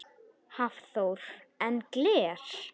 Hafþór: En gler?